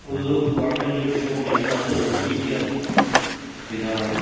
Edu toh carpenter shop nishna ase etu ki ki khan bena la--